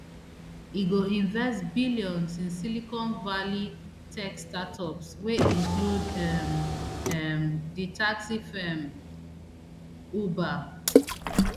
e go invest billions in silicon valley tech startups wey include um um di taxi firm uber